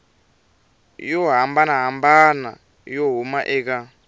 yo hambanahambana yo huma eka